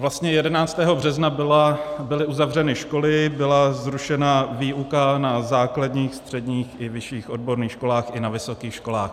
Vlastně 11. března byly uzavřeny školy, byla zrušena výuka na základních, středních i vyšších odborných školách, i na vysokých školách.